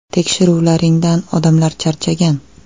Tekshiruvlaringdan odamlar charchagan.